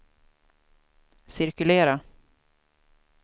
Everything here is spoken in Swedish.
cirkulera